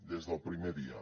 des del primer dia